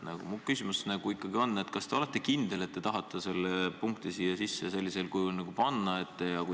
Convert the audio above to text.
Mu küsimus on järgmine: kas te olete kindel, et tahate selle punkti sellisel kujul siia sisse panna?